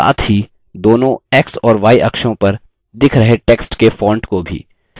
साथ ही दोनों x और y अक्षों पर दिख रहे text के font को भी